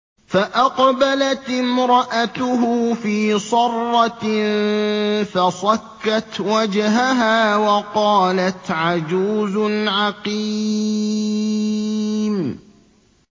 فَأَقْبَلَتِ امْرَأَتُهُ فِي صَرَّةٍ فَصَكَّتْ وَجْهَهَا وَقَالَتْ عَجُوزٌ عَقِيمٌ